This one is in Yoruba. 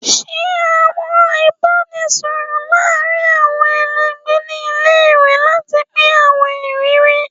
Ṣe awọn ibaraẹnisọrọ laarin awọn ẹlẹgbẹ ni ile-iwe lati pin awọn iriri